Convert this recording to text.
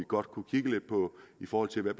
godt kunne kigge på i forhold til hvad